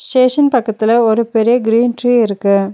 Station பக்கத்துல ஒரு பெரிய கிரீன் ட்ரீ இருக்கு.